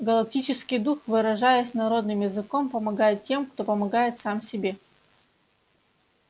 галактический дух выражаясь народным языком помогает тем кто помогает сам себе